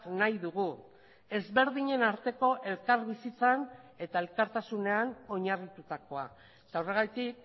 nahi dugu ezberdinen arteko elkarbizitzan eta elkartasunean oinarritutakoa eta horregatik